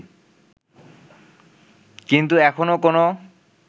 কিন্তু এখনও কোনও